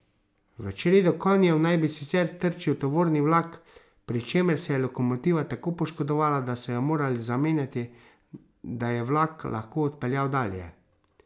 V čredo konjev naj bi sicer trčil tovorni vlak, pri čemer se je lokomotiva tako poškodovala, da so jo morali zamenjati, da je vlak lahko odpeljal dalje.